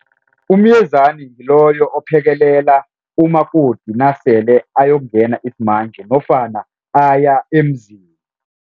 Umyezani ngiloyo ophekelela umakoti nasele ayongena isimanje nofana aya emzini.